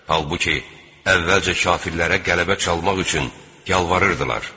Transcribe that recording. Halbuki, əvvəlcə kafirlərə qələbə çalmaq üçün yalvarırdılar.